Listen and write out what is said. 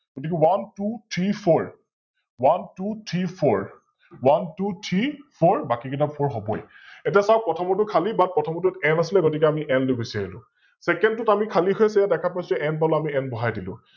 গতিকে OneTwoThreeFour, OneTwoThreeFour, OneTwoThreeFour, বাকি কিটা Four হৱই । এতিয়া চাওক প্ৰথমৰটো খালি ButN আছিলে, গতিকে N লৈ গুছি আহিলো । Second টোত আমি খালি হৈ আছে ইয়া দেখা পাইছো N পালো N বহাই দিলো ।